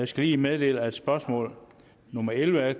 skal lige meddele at spørgsmål nummer elleve af